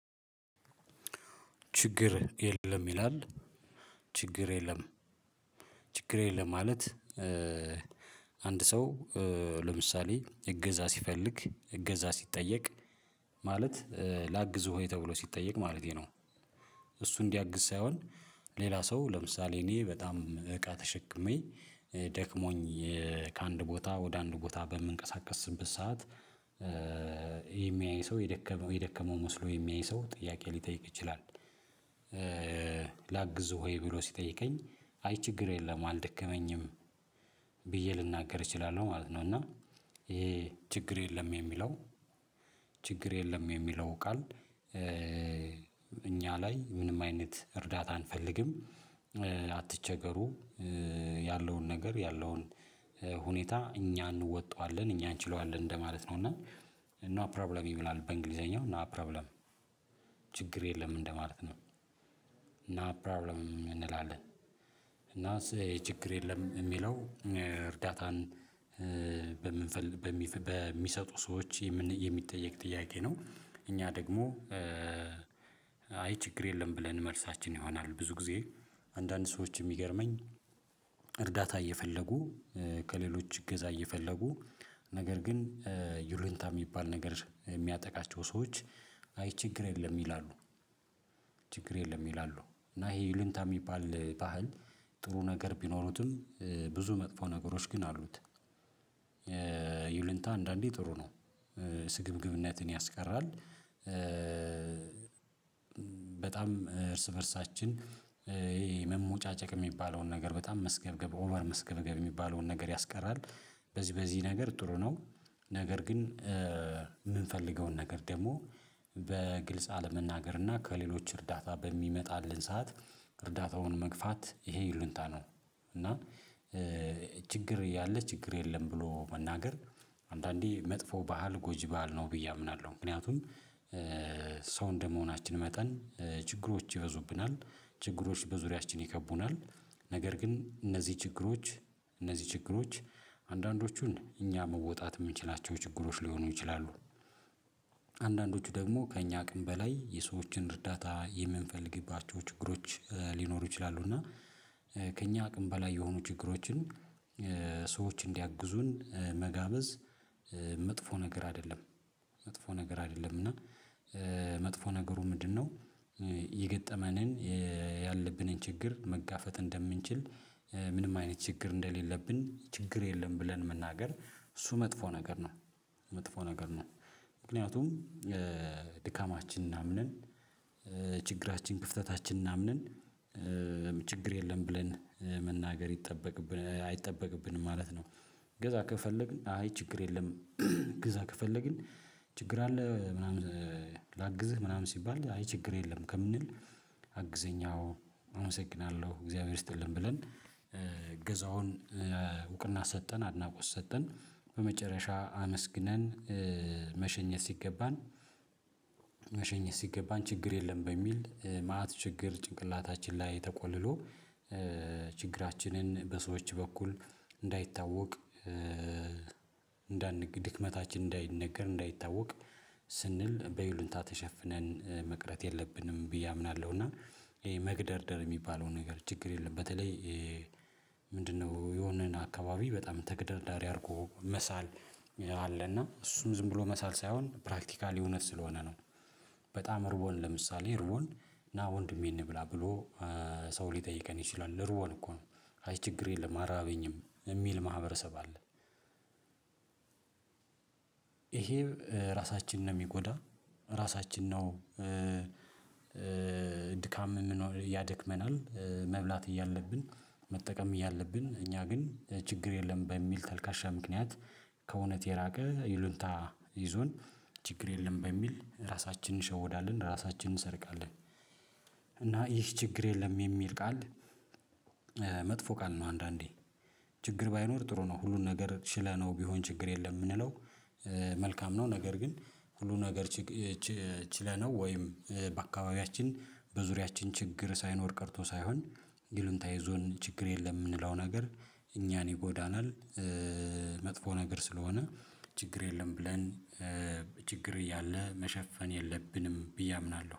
ችግር የለም ይላል ችግር የለም ችግር የለም ማለት። አንድ ሰው ለምሳሌ እገዛ ሲፈልግ እገዛ ሲጠየቅ ማለት ላግዝ ወይ ተብሎ ሲጠየቅ ማለቴ ነው። እሱ እንዲያግዝ ሳይሆን ሌላ ሰው ለምሳሌ እኔ በጣም እቃ ተሸክሜ ደክሞኝ ከአንድ ቦታ ወደ አንድ ቦታ በምንቀሳቀስበት ሰዓት የሚያይ ሰው የደከመው የደከመው መስሎ የሚያይ ሰው ጥያቄ ሊጠይቅ ይችላል? ላግዝ ሆይ ብሎ ሲጠይቀኝ አይ ችግር የለም አልደከመኝም። ብዬ ልናገር እችላለሁ ማለት ነው። እና ይሄ ችግር የለም የሚለው ችግር የለም የሚለው ቃል እኛ ላይ ምንም አይነት እርዳታ አንፈልግም። አትቸገሩ ያለውን ነገር ያለውን ሁኔታ እኛ እንወጣዋለን እኛ እንችለዋለን እንደማለት ነው። እና ኖ ፕሮብለም ይብላል በእንግሊዘኛው ኖ ፕሮብለም ችግር የለም እንደማለት ነው። ናት ፕሮብለም እንላለን። እና ችግር የለም የሚለው እርጋታን በም በሚሰጡ ሰዎች የሚጠየቅ ጥያቄ ነው። እኛ ደግሞ አይ ችግር የለም ብለን መልሳችን ይሆናል። ብዙ ጊዜ አንዳንድ ሰዎች የሚገርመኝ እርዳታ እየፈለጉ ከሌሎች እገዛ እየፈለጉ ነገር ግን ዩሉንታ የሚባል ነገር የሚያጠቃቸው ሰዎች አይ ችግር የለም ይላሉ። ችግር የለም ይላሉ እና ይሄ ዩልንታ የሚባል ባህል ጥሩ ነገር ቢኖሩትም ብዙ መጥፎ ነገሮች ግን አሉት። ይህ ልንታ አንዳንዴ ጥሩ ነው። ስግብግብነትን ያስቀራል። በጣም እርስ በእርሳችን ይሄ የመመጫጨቅ የሚባለው ነገር በጣም መስገብገብ ኦቨር መስገብገብ የሚባለውን ነገር ያስቀራል በዚህ በዚህ ነገር ጥሩ ነው። ነገር ግን የምንፈልገውን ነገር ደግሞ በግልጽ አለመናገር እና ከሌሎች እርዳታ በሚመጣልን ሰዓት እርዳታውን መግፋት ይሄ ይሉኝታ ነው። እና ችግር ያለ ችግር የለም ብሎ መናገር አንዳንዴ መጥፎ ባህል ጎጂ ባህል ነው ብዬ አምናለሁ። ምክንያቱም ሰው እንደመሆናችን መጠን ችግሮች ይበዙብናል ችግሮች በዙሪያችን ይከቡናል ነገር ግን እነዚህ ችግሮች እነዚህ ችግሮች አንዳንዶቹን እኛ መወጣት የምንችላቸው ችግሮች ሊሆኑ ይችላሉ። አንዳንዶቹ ደግሞ ከእኛ አቅም በላይ የሰዎችን እርዳታ የምንፈልግባቸው ችግሮች ሊኖሩ ይችላሉ። እና ከእኛ አቅም በላይ የሆኑ ችግሮችን ሰዎች እንዲያግዙን መጋበዝ መጥፎ ነገር አይደለም። መጥፎ ነገር አይደለምና መጥፎ ነገሩ ምንድነው? ይገጠመን ያለብንን ችግር መጋፈጥ እንደምንችል ምንም አይነት ችግር እንደሌለብን ችግር የለም ብለን መናገር እሱ መጥፎ ነገር ነው። መጥፎ ነገር ነው። ምክንያቱም የድካማችንን አምነን ችግራችን ክፍተታችን እምነን ችግር የለም ብለን መናገር ይጠበቅብን አይ ጠበቅብንም ማለት ነው። እገዛ ከፈለግን አይ ችግር የለም እግዛ ከፈለግን ችግር አለ ምናምን ላግዝህ ምናምን ሲባል አይ ችግር የለም። ከምንል አግዘኝ አዎ አመሰግናለሁ እግዚአብሔር ይስጥልን ብለን እገዛውን እውቅና ሰጠን አድናቆት ሰጠን። በመጨረሻ አመስግነን መሸኘት ሲገባን መሸኘት ሲገባን ችግር የለም በሚል መአት ችግር ጭንቅላታችን ላይ ተቆልሎ ችግራችንን በሰዎች በኩል እንዳይታወቅ ድክመታችን እንዳይነገር እንዳይታወቅ ስንል በይሉኝታ ተሸፍነን መቅረት የለብንም ብዬ አምናለሁ። እና ይሄ መግደርደር የሚባለው ነገር ችግር የለም በተለይ ምንድነው የሆነን አካባቢ በጣም ተግዳዳሪ አድርጎ መሳል አለና እሱም ዝም ብሎ መሳል ሳይሆን ፕራክቲካሊ እውነት ስለሆነ ነው። በጣም ርቦን ለምሳሌ ርቦን ና ወንድሜን እንብላ ብሎ ሰው ሊጠይቀን ይችላል ርቦን እኮ ነው አይ ችግር የለም አራበኝም የሚል ማህበረሰብ አለ። ይሄም ራሳችንን ነው የሚጎዳ ራሳችን ነው። ድካም ያደክመናል መብላት እያለብን መጠቀም እያለብን እኛ ግን ችግር የለም በሚል ተልካሻ ምክንያት ከእውነት የራቀ ይሉኝታ ይዞን ችግር የለም በሚል ራሳችንን እንሸወዳለን ራሳችንን እንሰርቃለን። እና ይህ ችግር የለም የሚል ቃል መጥፎ ቃል ነው። አንዳንዴ ችግር ባይኖር ጥሩ ነው ሁሉን ነገር ችለነው ቢሆን ችግር የለም የምንለው መልካም ነው። ነገር ግን ሁሉን ነገር ችለነው ወይም በአካባቢያችን በዙሪያችን ችግር ሳይኖር ቀርቶ ሳይሆን ዩልንታ የዞን ችግር የለም የምንለው ነገር እኛን ይጎዳናል። መጥፎ ነገር ስለሆነ ችግር የለም ብለን ችግር እያለ መሸፈን የለብንም ብዬ አምናለሁ